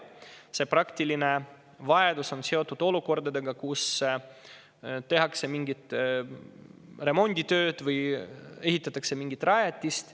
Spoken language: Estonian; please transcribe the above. See praktiline vajadus on seotud olukordadega, kus tehakse mingeid remonditöid või ehitatakse mingit rajatist.